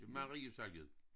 Marie salget